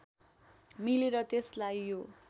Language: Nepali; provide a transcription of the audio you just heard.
मिलेर त्यसलाई यो